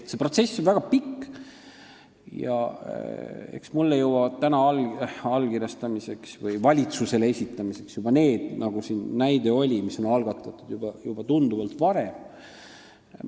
See protsess on väga pikk ja eks minu kätte allkirjastamiseks või valitsusele esitamiseks jõuavad juba need eeskirjad – nagu siin ka näide oli –, mis on algatatud tunduvalt varem.